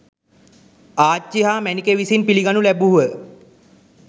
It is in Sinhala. ආරච්චි හා මැණිකේ විසින් පිළිගනු ලැබූහ.